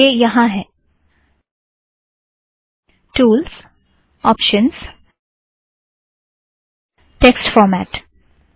यह यहाँ है - टूल्ज़ ओपशनज़ टेक्स्ट फ़ोरमैट